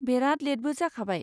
बेराद लेटबो जाखाबाय।